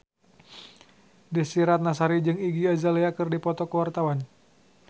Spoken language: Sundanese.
Desy Ratnasari jeung Iggy Azalea keur dipoto ku wartawan